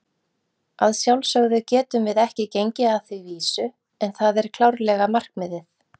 Að sjálfsögðu getum við ekki gengið að því vísu, en það er klárlega markmiðið.